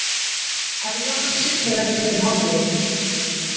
Herjólfur siglir ekki eftir hádegi